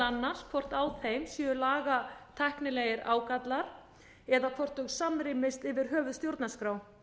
annars hvort á þeim séu lagatæknilegir ágallar eða hvort hún samrýmist yfir höfuð stjórnarskrá